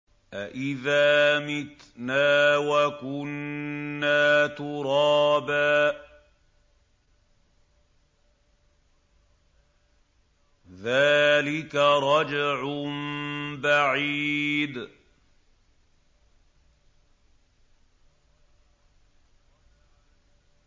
أَإِذَا مِتْنَا وَكُنَّا تُرَابًا ۖ ذَٰلِكَ رَجْعٌ بَعِيدٌ